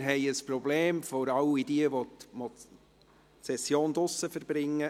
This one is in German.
Für all jene, die die Session draussen verbringen: